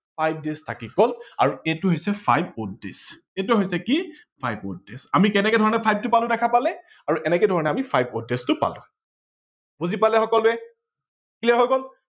five days থাকি গল আৰু এইটো হৈছে five odd days এইটো হৈছে কি five odd days আমি কেনেকে ধৰনে five টো পালো দেখা পালে, আৰু এনেকে ধৰনে আমি five odd days টো পালো বুজি পালে সকলোয়ে clear হৈ গল